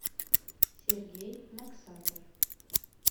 сергей максаков